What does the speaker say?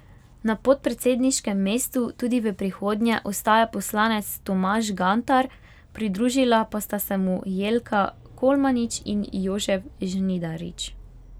Na podpredsedniškem mestu tudi v prihodnje ostaja poslanec Tomaž Gantar, pridružila pa sta se mu Jelka Kolmanič in Jožef Žnidarič.